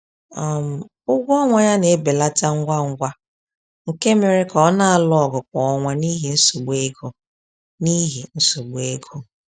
um Ụgwọ ọnwa ya na-ebelata ngwa ngwa nke mere ka ọ na-alụ ọgụ kwa ọnwa n’ihi nsogbu ego. n’ihi nsogbu ego.